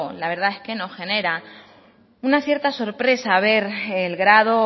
la verdad es que nos genera una cierta sorpresa ver el grado